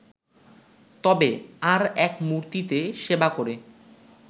তবে ‘আর এক মূর্তি’তে সেবা করে